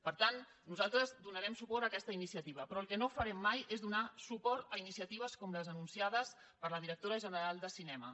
per tant nosaltres donarem suport a aquesta iniciativa però el que no farem mai és donar suport a iniciatives com les anunciades per la directora general de cinema